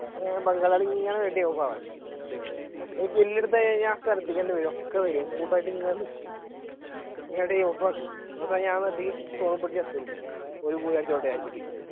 ബംഗാളി ഇങ്ങനെ ready ആവാൻ ഒരു skill എടുത്തുകഴിഞ്ഞാൽ ശ്രദ്ധിക്കേണ്ടി വരും ഒക്കെ വരും കൂട്ടമായിട്ടിങ്ങനെ നിക്കും പോയടിച്ചോട്ടെ എന്ന് വിചാരിച്ചിട്ട്